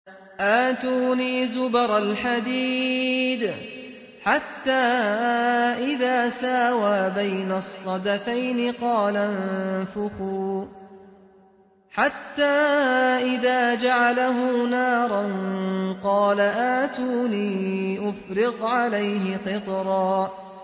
آتُونِي زُبَرَ الْحَدِيدِ ۖ حَتَّىٰ إِذَا سَاوَىٰ بَيْنَ الصَّدَفَيْنِ قَالَ انفُخُوا ۖ حَتَّىٰ إِذَا جَعَلَهُ نَارًا قَالَ آتُونِي أُفْرِغْ عَلَيْهِ قِطْرًا